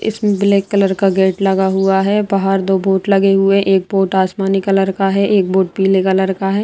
इसमें black colour का gate लगा हुआ है बाहर दो बोर्ड लगे हुए है एक बोर्ड आसमानी कलर का है एक बोर्ड पीले कलर का है।